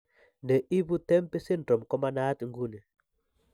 Ne ibu TEMPI syndrome ko manaat ng'uni.